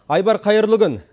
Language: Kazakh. айбар қайырлы күн